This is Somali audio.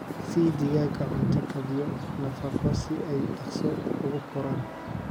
Sii digaagga cunto kaabyo nafaqo si ay dhaqso ugu koraan.